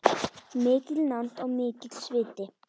Mikil nánd og mikill sviti.